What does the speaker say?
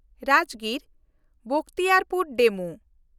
ᱨᱟᱡᱽᱜᱤᱨ–ᱵᱚᱠᱷᱛᱤᱭᱟᱨᱯᱩᱨ DEMU